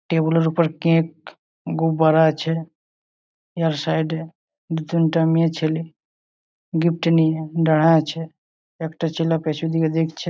টেবিলের উপর কেক গু ভরা আছে। আর সাইড -এ তিনটে মেয়েছেলে গিফ্ট নিয়ে দাঁড়া আছে। আর একটা ছেলে পেছু দিকে দেখছে।